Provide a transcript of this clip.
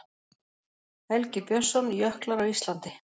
Helgi Björnsson, Jöklar á Íslandi.